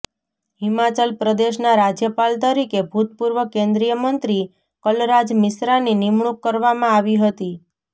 હિમાચલ પ્રદેશના રાજ્યપાલ તરીકે ભૂતપૂર્વ કેન્દ્રીય મંત્રી કલરાજ મિશ્રાની નિમણૂક કરવામાં આવી હતી